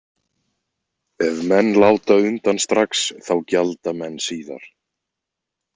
Ef menn láta undan strax þá gjalda menn síðar.